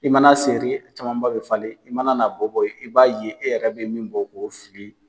I mana seri camanba bɛ falen i mana na bɔ bɔ i b'a ye e yɛrɛ bɛ ye min bɔn k'o fili.